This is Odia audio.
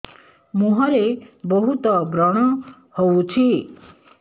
ମୁଁହରେ ବହୁତ ବ୍ରଣ ହଉଛି